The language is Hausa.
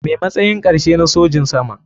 Me matsayin karshe na sojin sama.